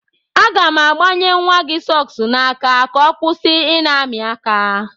Aga m agbanye nwa gị sọks n'aka ka ọ kwụsị ị na-amị aka.